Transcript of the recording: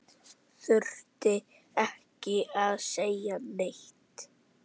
Þurfti ekki að segja neitt.